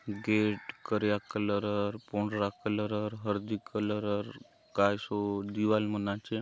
गेट करिया कलरर पंडरा कलरर हरदी कलरर कायतो दीवाल मन आचे ।